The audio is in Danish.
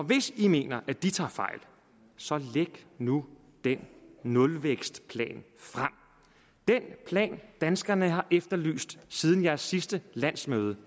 hvis i mener at de tager fejl så læg nu den nulvækstplan frem den plan danskerne har efterlyst siden jeres sidste landsmøde